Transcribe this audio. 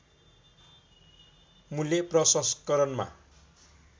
मूल्य प्रसंस्करणमा